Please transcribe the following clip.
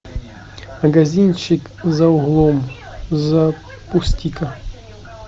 магазинчик за углом запусти ка